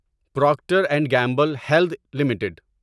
Procter and Gamble health limited